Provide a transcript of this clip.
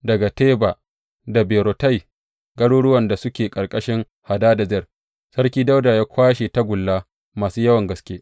Daga Teba da Berotai, garuruwan da suke ƙarƙashin Hadadezer, Sarki Dawuda ya kwashe tagulla masu yawan gaske.